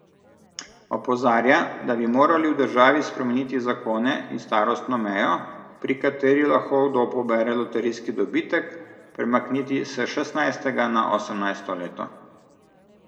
Opozarja, da bi morali v državi spremeniti zakone in starostno mejo, pri kateri lahko kdo pobere loterijski dobitek, premakniti s šestnajstega na osemnajsto leto.